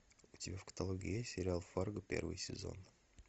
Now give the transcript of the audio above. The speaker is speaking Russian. у тебя в каталоге есть сериал фарго первый сезон